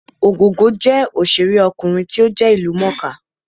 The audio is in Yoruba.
Ògògó jẹ́ òṣèré ọkùnrin tí ó jẹ́ ìlú mọ̀ọ́ kà